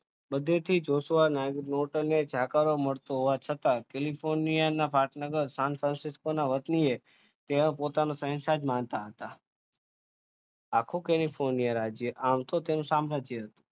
જોસવા જાકર મળતો હોવા છતાં કેલિફોર્નિયા ના પાટનગર તેમાં પોતાના સંસાર જ માનતા હતા આખું કેલિફોનિયા રાજ્ય આમ તો આમ તો તેનું સામ્રાજ્ય હતું